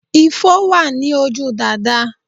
Ifo wà ní ojú Dàdá